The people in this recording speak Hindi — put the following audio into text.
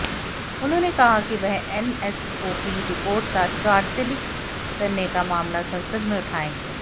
उन्होंने कहा कि वह एनएसओकी रिपोर्ट का सार्वजनिक करने का मामला संसद में उठायेंगे